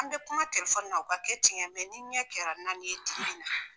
An be kuma na o ka kɛ tigɛ ye ni ɲɛ kɛra naani ye tukuni dun.